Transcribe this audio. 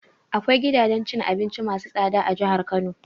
Akwai gidajen cin abinci masu tsada a jihar Kano.